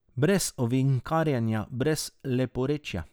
Brez ovinkarjenja, brez leporečja.